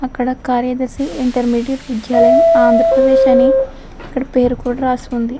అక్కడ కార్యదర్శి ఇంటర్మీడియట్ విద్యాలయం ఆంధ్ర ప్రదేశ్ అని ఇక్కడ పేరు కూడా రాసుకుంది.